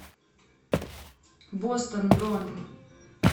бостон бронь